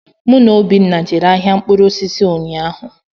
Mụ na Obinna jere ahịa mkpụrụ osisi ụnyaahụ.